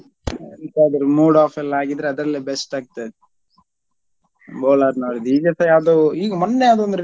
ಎಂತಾದ್ರು mood off ಎಲ್ಲಾ ಆಗಿದ್ರೆ ಅದ್ರಲ್ಲೇ best ಆಗ್ತದೆ ಬೋಳಾರ್ ನವ್ರದು ಈಗಸ ಯಾವ್ದೋ ಈಗ ಮೊನ್ನೆ ಯಾವ್ದೋ ಒಂದು.